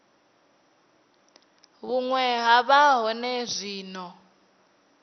vhune ha vha hone zwino